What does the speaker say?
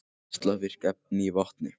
Geislavirk efni í vatni